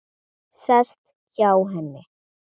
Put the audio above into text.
Sest hjá henni.